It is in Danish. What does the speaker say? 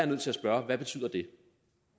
nødt til at spørge hvad betyder det